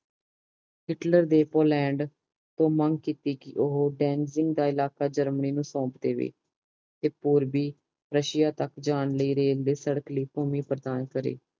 Hitler ਨੇ Poland ਤੋਂ ਮੰਗ ਕੀਤੀ ਕੇ ਉਹ ਦੇਨਸਿੰਗ ਦਾ ਇਲਾਕਾ ਜਰਮਨੀ ਨੂੰ ਸੋਮਪ ਦੇਵੇ ਤੇ ਪੂਰਵੀ ਰੁਸਸ਼ਿਯਾ ਤਕ ਜਾਂ ਲਈ ਰੈਕਵੇ ਸੜਕ ਲਈ ਭੂਮੀ ਪ੍ਰਦਾਨ ਕਰੇ